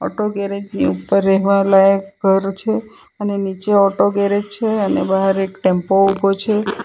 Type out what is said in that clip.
Auto garage ની ઉપર રહેવા લાયક ઘર છે અને નીચે ઓટો ગેરેજ છે અને બહાર એક ટેમ્પો ઉભો છે.